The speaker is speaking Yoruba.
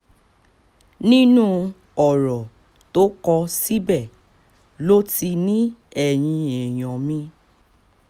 nínú ọ̀rọ̀ tó kọ síbẹ̀ ló ti ní ẹ̀yin èèyàn mi